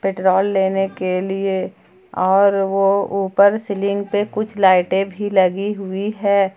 Petrol लेने के लिए और वह ऊपर सीलिंग पर कुछ लाइटें भी लगी हुई है।